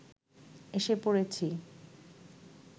এসে পড়েছি